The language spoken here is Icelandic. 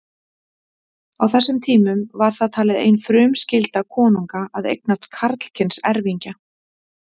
Á þessum tímum var það talið ein frumskylda konunga að eignast karlkyns erfingja.